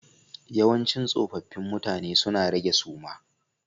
Yawancin tsofaffi mutane suna rage suma